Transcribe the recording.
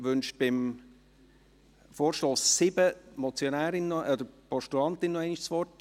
Wünscht die Motionärin zum Vorstoss 7 beziehungsweise die Postulantin, nochmals das Wort?